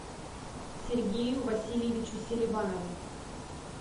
сергею васильевичу селиванову